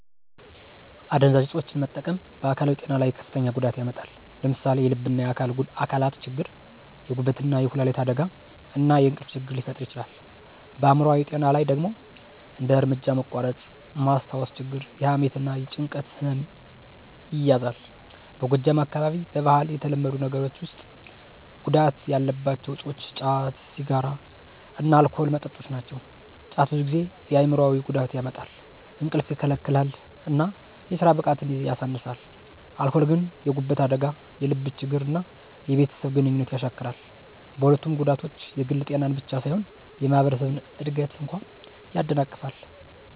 አደንዛዥ እፆችን መጠቀም በአካላዊ ጤና ላይ ከፍተኛ ጉዳት ያመጣል። ለምሳሌ የልብና የአካል አካላት ችግር፣ የጉበትና የኩላሊት አደጋ፣ እና የእንቅልፍ ችግር ይፈጥራል። በአይምሮአዊ ጤና ላይ ደግሞ እንደ እርምጃ መቋረጥ፣ ማስታወስ ችግር፣ የሐሜት እና የጭንቀት ህመም ይያዛል። በጎጃም አካባቢ በባህል የተለመዱ ነገሮች ውስጥ ጉዳት ያላቸው እፆች ጫት፣ ሲጋራ እና አልኮል መጠጦች ናቸው። ጫት ብዙ ጊዜ የአይምሮአዊ ጉዳት ያመጣል፣ እንቅልፍ ይከለክላል እና የስራ ብቃትን ያሳንሳል። አልኮል ግን የጉበት አደጋ፣ የልብ ችግር እና የቤተሰብ ግንኙነት ያሻክራል። በሁለቱም ጉዳቶች የግል ጤናን ብቻ ሳይሆን የማህበረሰብን እድገት እንኳ ያደናቅፋሉ።